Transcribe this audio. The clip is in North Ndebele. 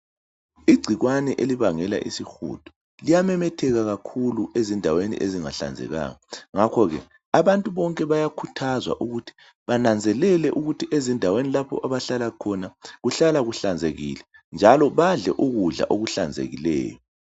Igcikwane elibangela isihudo liyamemetheka kakhulu ezindaweni ezingahlanzekanga ngakho ke abantu bonke bayakhuthazwa ukuthi bananzelele ukuthi ezindaweni lapho abahlala khona kuhlala kuhlanzekile njalo badle ukudla okuhlanzekileyo.